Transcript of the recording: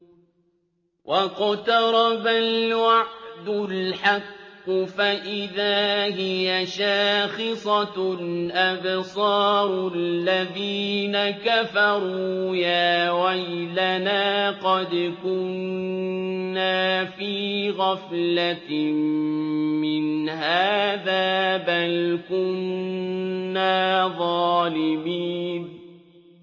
وَاقْتَرَبَ الْوَعْدُ الْحَقُّ فَإِذَا هِيَ شَاخِصَةٌ أَبْصَارُ الَّذِينَ كَفَرُوا يَا وَيْلَنَا قَدْ كُنَّا فِي غَفْلَةٍ مِّنْ هَٰذَا بَلْ كُنَّا ظَالِمِينَ